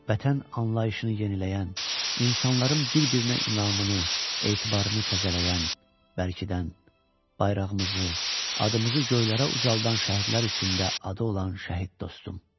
Vətən anlayışını yeniləyən, insanların bir-birinə inamını, etibarını təzələyən, bərkidən, bayrağımızı, adımızı göylərə ucaldan şəhidlər içində adı olan şəhid dostum.